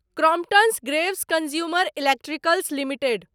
Crompton Greaves consumer electricals limited